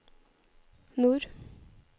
nord